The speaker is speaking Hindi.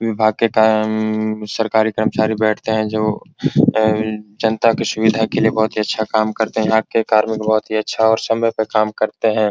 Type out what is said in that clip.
विभाग के कारण सरकारी कर्मचारी बैठते है जो जनता की अ अ सुविधा के लिए बहुत ही अच्छा काम करते है यहां के कार्मिक बहुत ही अच्छा और समय पे काम करते हैं।